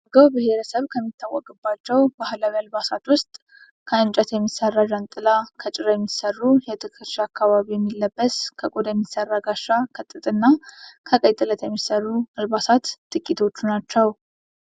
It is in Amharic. የአገው ብሄረሰብ ከሚታወቅባቸው ባህላዊ አልባሳት ውስጥ ውስጥ ከእንጨት የሚሰራ ጃንጥላ፣ ከጭራ የሚሰሩ በትክሻ አካባቢ የሚለበስ፣ ከቆዳ የሚሰራ ጋሻ፣ ከጥጥ እና ከቀይ ጥለት የሚሰሩ አልባሳት ጥቂቶቹ ናቸው።